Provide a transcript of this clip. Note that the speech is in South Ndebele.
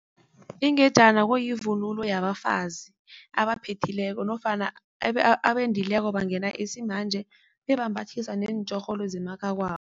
Ingejana kuyivunulo yabafazi abaphethileko nofana abendileko bangena isimanje, bebambathiswa neentjhorholo zemakhakwabo.